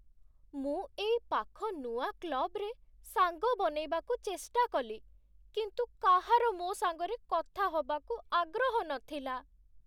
ମୁଁ ଏଇ ପାଖ ନୂଆ କ୍ଲବ୍‌ରେ ସାଙ୍ଗ ବନେଇବାକୁ ଚେଷ୍ଟା କଲି, କିନ୍ତୁ କାହାର ମୋ ସାଙ୍ଗରେ କଥା ହବାକୁ ଆଗ୍ରହ ନଥିଲା ।